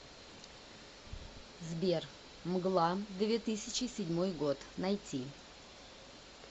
сбер мгла две тысячи седьмой год найти